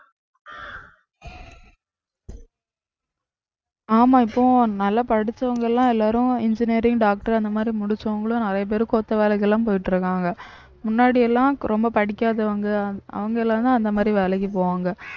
ஆமா இப்போ நல்லா படிச்சவங்க எல்லாம் எல்லாரும் engineering, doctor அந்த மாதிரி முடிச்சவங்களும் நிறைய பேரு கொத்த வேலைக்கு எல்லாம் போயிட்டு இருக்காங்க முன்னாடி எல்லாம் ரொம்ப படிக்காதவங்க அவங்க எல்லாம் தான் அந்த மாதிரி வேலைக்கு போவாங்க